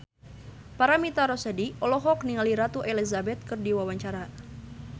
Paramitha Rusady olohok ningali Ratu Elizabeth keur diwawancara